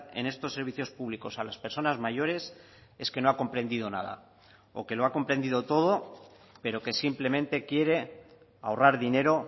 en estos servicios públicos a las personas mayores es que no ha comprendido nada o que lo ha comprendido todo pero que simplemente quiere ahorrar dinero